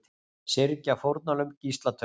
Syrgja fórnarlömb gíslatöku